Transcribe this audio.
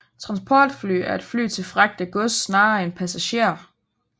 Transportfly er et fly til fragt af gods snarere end passagerer